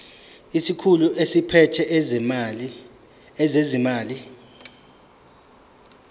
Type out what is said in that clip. isikhulu esiphethe ezezimali